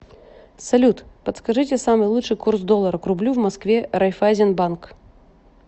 салют подскажите самый лучший курс доллара к рублю в москве райфайзен банк